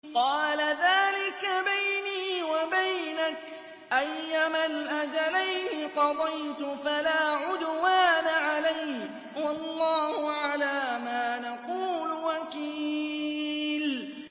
قَالَ ذَٰلِكَ بَيْنِي وَبَيْنَكَ ۖ أَيَّمَا الْأَجَلَيْنِ قَضَيْتُ فَلَا عُدْوَانَ عَلَيَّ ۖ وَاللَّهُ عَلَىٰ مَا نَقُولُ وَكِيلٌ